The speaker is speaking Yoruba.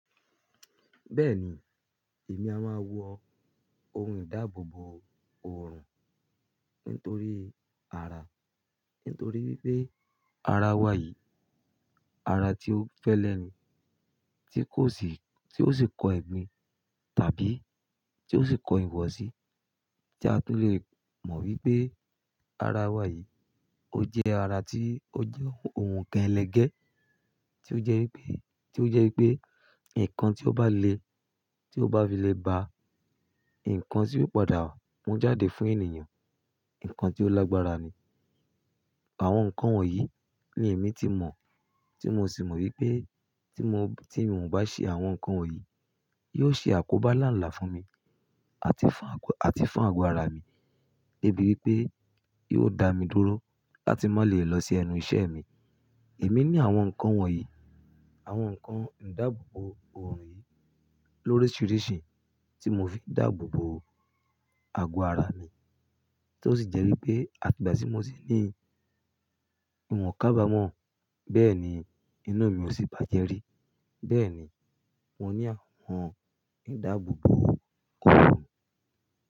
Bẹ́ẹ̀ni, èmi a máa wọ ohun ìdáàbòbò òòrùn nítorí àrà, nítorí wípé ara wa yìí, ara tí ó fẹ́lẹ́ ni, tí kò sì, tí ó sì kọ ẹ̀gbin tàbí tí ó sì kọ ìwọ̀sí tí a tó lè mọ̀ wípé ara wa yìí ó jẹ́ ara tí ó jẹ́ ohun kan ẹlẹgẹ́, tí ó jẹ́ wípé, tí ó jẹ́ wípé ǹkan tí ó bá le, tí ó bá fi lè ba ǹkan tí yóò padà mú jáde fún ènìyàn, ǹkan tí ó lágbára ni. Àwọn ǹkan wọ̀nyí ni èmi ti mọ̀, tí mo sì mọ̀ wípé tí mò, tí èmi ò bá ṣe àwọn ǹkan wọ̀nyí, yóò ṣe àkóbá làǹlà fún mi àti fún àgọ́, àti fún àgọ́ ara mi débi wípé yóò dá mi dúró láti má lè lọ sí ẹnu iṣẹ́ mi. Èmi ní àwọn ǹkan wọ̀nyí, àwọn ǹkan ìdáàbòbò òòrùn yìí lóríṣiríṣi tí mo fi ń dáàbòbò àgọ́ ara mi tí ó sì jẹ́ wípé àtì igbà tí mo sì ní ìwọ̀n kábámọ̀, bẹ́ẹ̀ ni inu mi ò sì bá jẹ́ rí. Bẹ́ẹ̀ ni mo ní àwọn ìdáàbòbò òòrùn.